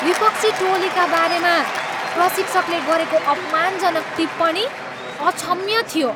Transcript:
विपक्षी टोलीका बारेमा प्रशिक्षकले गरेको अपमानजनक टिप्पणी अक्षम्य थियो।